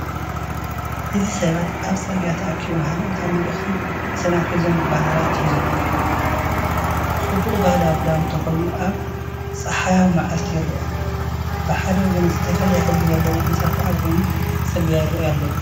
እዚ ሰባት ኣብ ጽርግያ ተኣኪቦም ሃይማኖታዊ መልእኽቲ ሰላም ዝሓዘ ባነራት ሒዞም። ጽባቅ ባህላዊ ክዳውንቲ ተከዲኖም ኣብ ጸሓያዊ መዓልቲ ይርአ። ብሓደ ወገን ዝተፈላለየ ሕብሪ ዘለዎም ህንጻታት ኣብ ጎኒ ጽርግያ ይረኣዩ ኣለው።